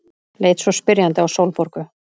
Leit svo spyrjandi á Sólborgu.